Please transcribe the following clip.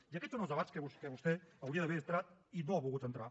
i aquests són els debats a què vostè hauria d’haver entrat i no hi ha volgut entrar